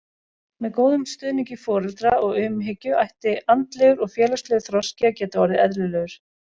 Með góðum stuðningi foreldra og umhyggju ætti andlegur og félagslegur þroski að geta orðið eðlilegur.